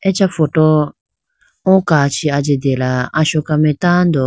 acha photo o kachi ajitela asoka mai tando.